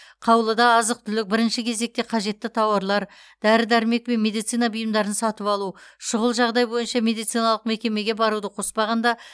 қаулыда азық түлік бірінші кезекте қажетті тауарлар дәрі дәрмек және медицина бұйымдарын сатып алу шұғыл жағдай бойынша медициналық мекемеге баруды қоспағанда